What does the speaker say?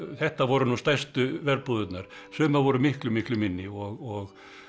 þetta voru nú stærstu sumar voru miklu miklu minni og